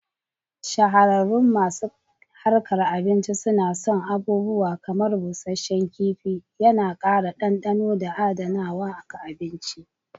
Shahararun masu harkan abinci suna son abubuawa kamar busasshen kif,i yana ƙara dandano da adanawa ga abinci.